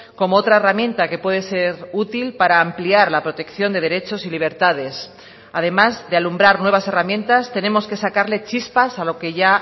como otra herramienta que puede ser útil para ampliar la protección de derechos y libertades además de alumbrar nuevas herramientas tenemos que sacarle chispas a lo que ya